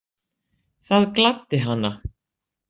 Það gladdi hana.